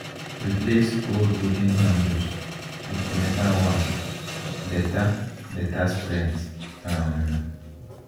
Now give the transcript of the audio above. replace old wooden handles with metal ones better better strength um